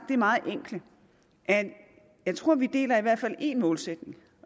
det meget enkle at jeg tror vi deler i hvert fald en målsætning